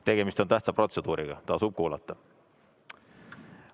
Tegemist on tähtsa protseduuriga, tasub kuulata.